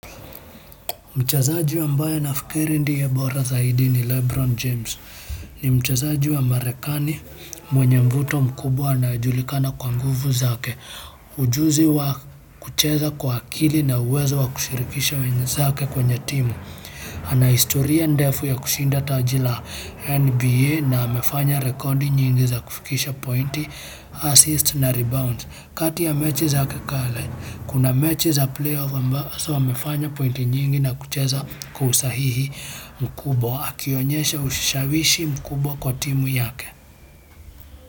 Mchezaji ambaye nafikiri ndiye bora zaidi ni Lebron James. Ni mchazaji wa Marekani mwenye mvuto mkubwa anaye julikana kwa nguvu zake. Ujuzi wa kucheza kwa akili na uwezo wa kushirikisha wenzake kwenye timu. Ana historia ndefu ya kushinda tajil a NBA na amefanya rekodi nyingi za kufikisha pointi, assist na rebound. Kati ya mechi zake za kale, kuna mechi za playoff ambazo amefanya pointi nyingi na kucheza kwa usahihi mkubwa. Akionyesha ushashawishi mkubwa kwa timu yake.